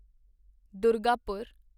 Durgapur